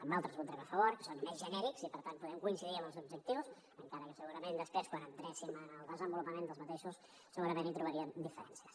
en altres hi votarem a favor que són més genèrics i per tant podem coincidir en els objectius encara que segurament després quan entressin en el seu desenvolupament segurament hi trobaríem diferències